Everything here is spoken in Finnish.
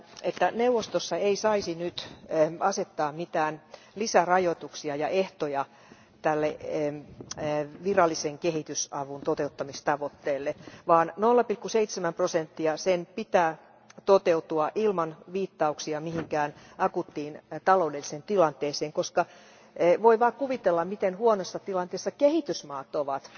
että neuvostossa ei saisi nyt asettaa mitään lisärajoituksia ja ehtoja tälle virallisen kehitysavun toteuttamistavoitteelle, vaan 0,7 prosentin tavoitteen pitää toteutua ilman viittauksia mihinkään akuuttiin taloudelliseen tilanteeseen, koska voi vain kuvitella, miten huonossa tilanteessa kehitysmaat ovat,